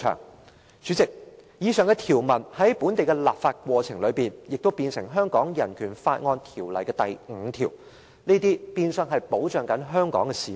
"代理主席，以上條文在本地立法過程中，成為《香港人權法案條例》第8條的第五條，變相保障香港市民。